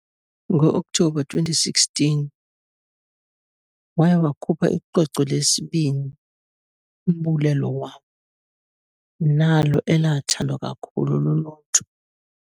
Ngo October 2016, waye wakhupha icwecwe lesibini"Umbulelo wam" nalo elathandwa kakhulu luluntu.